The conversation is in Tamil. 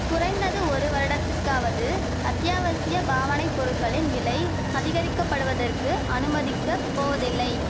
குறைந்தது ஒரு வருடத்துக்காவது அத்தியாவசிய பாவனை பொருட்களின் விலை அதிகரிக்க படுவதற்கு அனுமதிக்க போவதில்லை